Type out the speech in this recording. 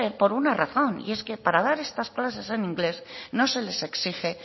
por una razón y es que para dar estas clases en inglés no se les exige